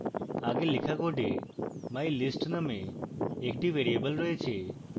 আগে লেখা code mylist name একটি ভ্যারিয়েবল রয়েছে